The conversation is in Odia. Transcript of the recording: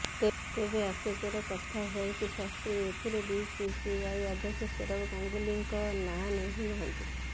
ତେବେ ଆଶ୍ଚର୍ଯ୍ୟକର କଥା ହେଉଛି ଶାସ୍ତ୍ରୀ ଏଥିରେ ବିସିସିଆଇ ଅଧ୍ୟକ୍ଷ ସୌରଭ ଗାଙ୍ଗୁଲିଙ୍କ ନାଁ ନେଇନାହାନ୍ତି